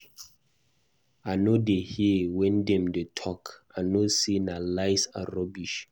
I no dey here wen dem dey talk, I know say na lies and rubbish.